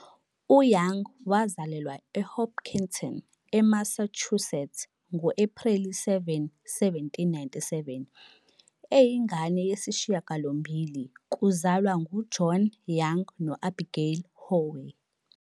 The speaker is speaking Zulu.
UYoung wazalelwa eHopkinton, eMassachusetts ngo-Ephreli 7, 1797, eyingane yesishiyagalombili kuzalwa nguJohn Young no-Abigail Howe.